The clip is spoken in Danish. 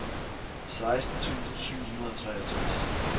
seksten tusind syv hundrede og treogtres